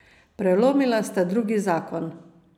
Prelomila sta drugi zakon.